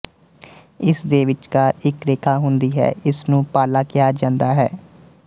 ਇਸ ਦੇ ਵਿੱਚਕਾਰ ਇੱਕ ਰੇਖਾ ਹੁੰਦੀ ਹੈ ਇਸ ਨੂੰ ਪਾਲਾ ਕਿਹਾ ਜਾਂਦਾ ਹੈ